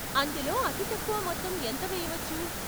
అందులో అతి తక్కువ మొత్తం ఎంత వేయవచ్చు?